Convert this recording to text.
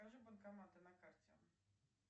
покажи банкоматы на карте